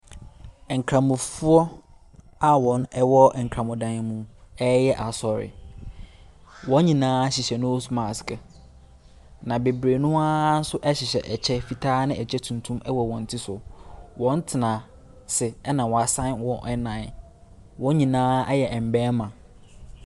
Nkramofoɔ a wɔn ɛwɔ nkramo dan mu ɛɛyɛ asɔre. Wɔn nyinaa hyehyɛ nos maske na bebree noa ɛhyehyɛ fitaa ɛne ɛkyɛ tuntum wɔ wɔn ti so. Wɔn tena ase ɛna wasan wɔn nnan. Wɔn nyinaa ɛyɛ mbɛɛma.